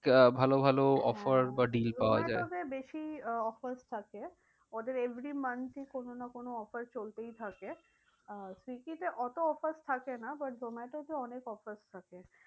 ভালো ভালো offer বা deal পাওয়া যায়। জোমাটোতে বেশি আহ offers থাকে। ওদের every month এ কোনো না কোনো offer চলতেই থাকে। আহ সুইগীতে অত offers থাকে না। but জোমাটোতে অনেক offers থাকে।